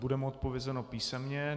Bude mu odpovězeno písemně.